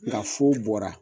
Lafu bɔra